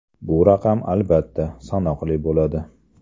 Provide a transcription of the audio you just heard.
Bu raqam albatta, sanoqli bo‘ladi.